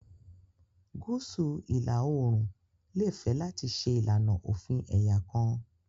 Gúúsù ìlà-oòrùn lè fẹ́ láti ṣe ìlànà òfin ẹ̀yà kan